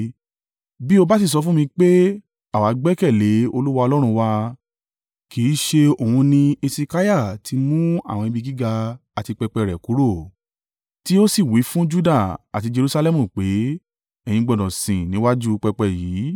Bí o bá sì sọ fún mi pé, “Àwa gbẹ́kẹ̀lé Olúwa Ọlọ́run wa,” kì í ṣe òun ni Hesekiah ti mú àwọn ibi gíga àti pẹpẹ rẹ̀ kúrò, tí ó sì wí fún Juda àti Jerusalẹmu pé, “Ẹ̀yin gbọdọ̀ sìn níwájú pẹpẹ yìí”?